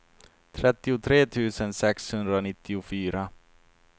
trettiotre tusen sexhundranittiofyra